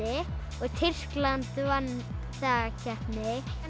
og Tyrkland vann þá keppni